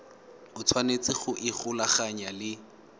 o tshwanetse go ikgolaganya le